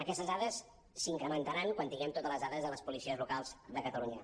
aquestes dades s’incrementaran quan tinguem totes les dades de les policies locals de catalunya